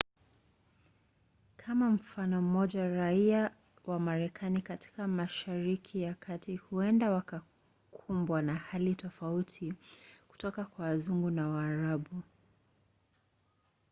kama mfano mmoja raia wa marekani katika mashariki ya kati huenda wakakumbwa na hali tofauti kutoka kwa wazungu na waarabu